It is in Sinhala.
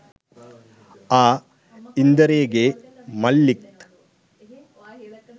ආ ඉන්දරේගෙ මල්ලිත්